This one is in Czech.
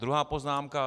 Druhá poznámka.